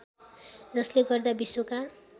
जसले गर्दा विश्वका